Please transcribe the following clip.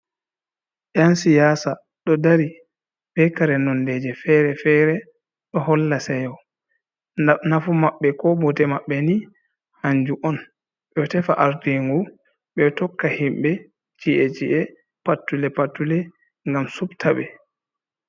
Yan siyasa, ɗo dari bekare nondeje feref-fere, ɗo holla seyo. Nafu maɓɓe ko bote maɓɓe ni hanju on ɓe ɗo tefa ardingu, ɓe ɗo tokka himɓe ce'e-ce'e pattule-pattule gam subta ɓe.